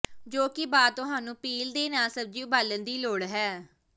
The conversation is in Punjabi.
ਜੋ ਕਿ ਬਾਅਦ ਤੁਹਾਨੂੰ ਪੀਲ ਦੇ ਨਾਲ ਸਬਜ਼ੀ ਉਬਾਲਣ ਦੀ ਲੋੜ ਹੈ